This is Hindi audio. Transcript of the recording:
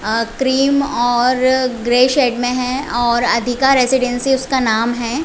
अ क्रीम और ग्रेए शैड में है और अधिका रेसीडेंसी उसका नाम है।